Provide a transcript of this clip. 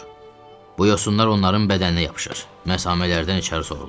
Bu yosunlar onların bədəninə yapışır, məsamələrdən içəri sorulur.